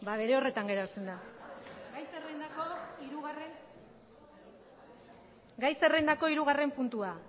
ba bere horretan geratzen da gai zerrendako hirugarren puntua